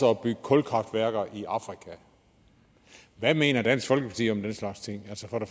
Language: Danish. at bygge kulkraftværker i afrika hvad mener dansk folkeparti om den slags ting